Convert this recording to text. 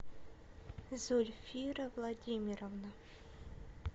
зульфира владимировна